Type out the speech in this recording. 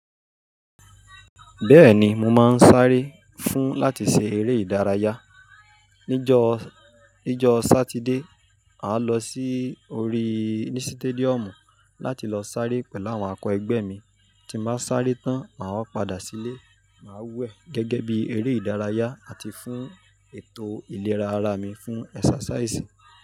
Bẹ́ẹ̀ni, mo máa ń sáré fún láti ṣe eré ìdárayá. Níjo, níjo sátidé, màá lọ sí orí ni sítédíọ̀mù láti lọ sáré pẹ̀lú àwọn akọẹgbẹ́ mi. Tí n ba sáré tán, màá wá padà sílé, màá wẹ gẹ́gẹ́ bí eré ìdárayá àti fún ètò ìlera ara mi fún ẹsàsáísì.